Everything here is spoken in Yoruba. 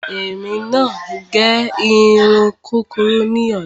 Èmi máa gẹ irun kúkurú ní ọ̀la.